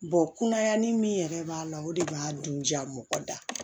kunayani min yɛrɛ b'a la o de b'a dun ja mɔgɔ da